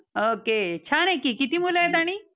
okay. छान आहे कि. किती मुलं आहेत आणि?